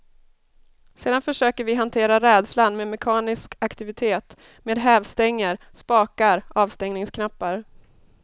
Sedan försöker vi hantera rädslan med mekanisk aktivitet, med hävstänger, spakar, avstängningsknappar.